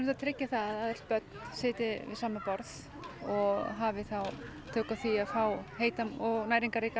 tryggja það að öll börn sitji við sama borð og hafi þá tök á því fá heita og næringarríka